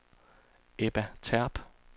Ebba Terp